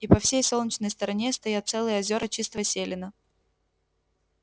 и по всей солнечной стороне стоят целые озера чистого селена